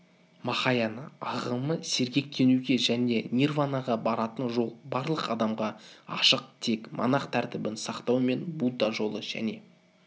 махаяна ағымы сергектенуге және нирванаға баратын жол барлық адамға ашық тек монах тәртібін сактау мен будда жолы және